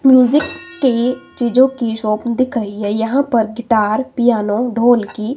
music के चीजों की शॉप दिख रही है यहां पर गिटार पियानो ढोलकी--